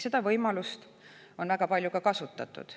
Seda võimalust on ka väga palju kasutatud.